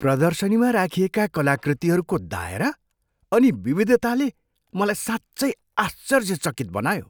प्रदर्शनीमा राखिएका कलाकृतिहरूको दायरा अनि विविधताले मलाई साँच्चै आश्चर्यचकित बनायो।